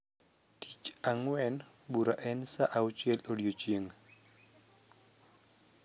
Tich angwen bura saa auchiel odiochieng